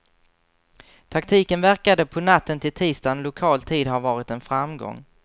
Taktiken verkade på natten till tisdagen lokal tid ha varit en framgång.